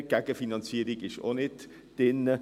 Die Gegenfinanzierung ist auch nicht drin.